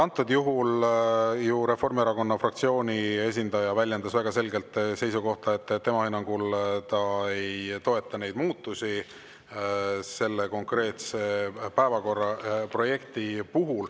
Antud juhul Reformierakonna fraktsiooni esindaja väljendas väga selgelt seisukohta, et ta ei toeta selles konkreetses päevakorraprojektis.